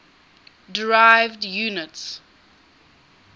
derived units